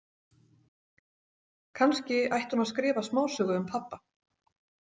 Kannski ætti hún að skrifa smásögu um pabba.